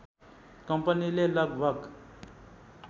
कम्पनीले लगभग